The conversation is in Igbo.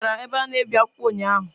Ị gara ebe a na-ebi akwụkwọ ụnyaahụ?